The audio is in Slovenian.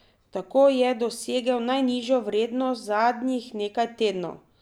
Tako je dosegel najnižjo vrednost zadnjih nekaj tednov.